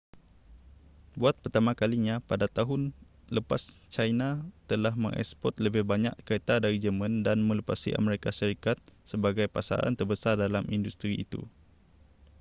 buat pertama kalinya pada tahun lepas china telah mengeksport lebih banyak kereta dari jerman dan melepasi amerika syarikat sebagai pasaran terbesar dalam industri itu